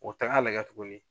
O taga lagɛ tuguni